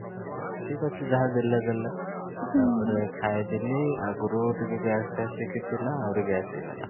ଠିକ ଅଛି ଯାହା ବି ଦେଲେ ଦେଲେ ତା ପରେ ଖାଇ ଦେଲି ଆଗରୁ ଟିକେ gas ହେଇକି ଥିଲା ଆହୁରି gas ହେଇ ଗଲା